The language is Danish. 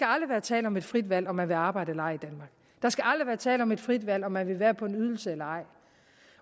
aldrig være tale om et frit valg om man vil arbejde eller ej der skal aldrig være tale om et frit valg om man vil være på en ydelse eller ej